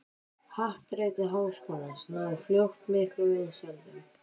Happdrætti Háskólans náði fljótt miklum vinsældum.